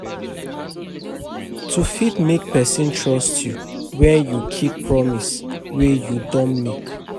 To fit make person trust you when you keep promise wey you don make